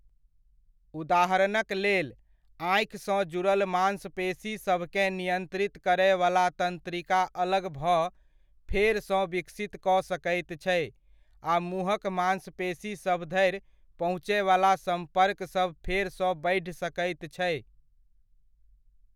उदाहरणक लेल, आँखिसँ जुड़ल माँसपेशीसभकेँ नियन्त्रित करयवला तन्त्रिका अलग भऽ फेरसँ विकसित कऽ सकैत छै आ मुँहक माँसपेशीसभ धरि पहुँचयवला सम्पर्कसभ फेरसँ बढ़ि सकैत छै।